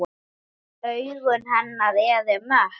Augu hennar eru mött.